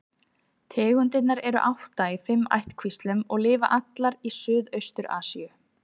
Tegundirnar eru átta í fimm ættkvíslum og lifa allar í Suðaustur-Asíu.